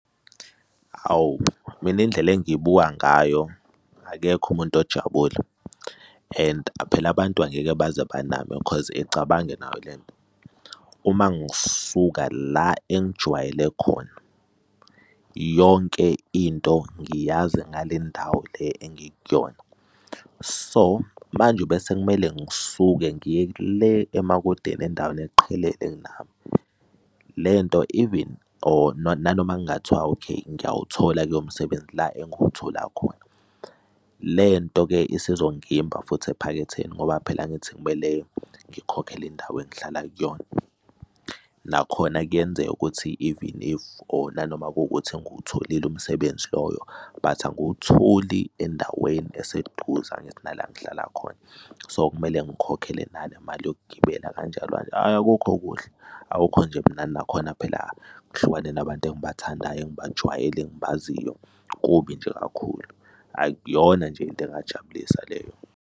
Hawu mina indlela engiyibuka ngayo, akekho umuntu ojabule. And aphela abantu angeke baze baname khoz icabange nawe ile nto. Uma ngisuka la engijwayele khona, yonke into ngiyazi ngale ndawo le engikuyona, so manje bese kumele ngisuke ngiye le emakudeni endaweni eqhelile nami, le nto even or nanoma kungathiwa, okay, ngiyawuthola lo msebenzi la engiwuthola khona, le nto-ke isizongimba futhi ephaketheni ngoba phela angithi ngimele ngikhokhele indawo engihlala kuyona. Nakhona kuyenzeka ukuthi even if or nanoma kuwukuthi ngiwutholile umsebenzi loyo, but angiwutholi endaweni eseduze, angithi nala engihlala khona, so kumele ngikhokhele nanemali yokugibela kanjalo kanje. Ayi, akukho kuhle, akukho nje mnandi nakhona phela ngihlukane nabantu engibathandayo, engibajwayele engibaziyo kubi nje kakhulu, akuyona nje into engajabulisa leyo.